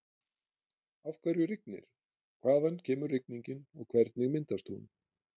Af hverju rignir, hvaðan kemur rigningin og hvernig myndast hún?